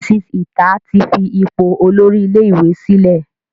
Mrs Ita tí fí ipò Olórí ilé ìwé sílè.